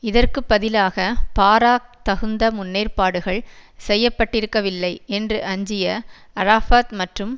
இதற்கு பதிலாக பாராக் தகுந்த முன்னேற்பாடுகள் செய்ய பட்டிருக்கவில்லை என்று அஞ்சிய அரஃபாத் மற்றும்